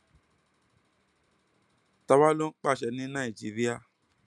ta wàá lọ ń pàṣẹ ní nàìjíríà